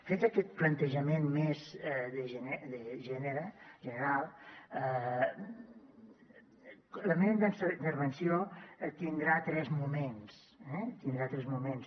fet aquest plantejament més general la meva intervenció tindrà tres moments eh tindrà tres moments